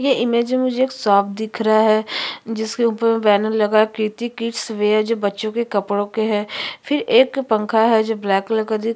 ये इमेज में मुझे एक साफ़ दिख रहा है जिसके ऊपर बैनर लगा के कृति किड्स वियर बच्चो के कपड़ो के है फिर एक पंखा है जो ब्लैक कलर का दिख --